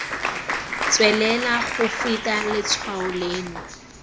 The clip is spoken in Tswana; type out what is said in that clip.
tswelela go feta letshwao leno